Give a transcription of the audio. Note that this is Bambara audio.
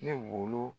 Ne wolo